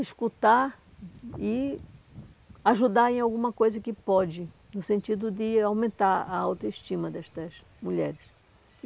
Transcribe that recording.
escutar e ajudar em alguma coisa que pode, no sentido de aumentar a autoestima destas mulheres.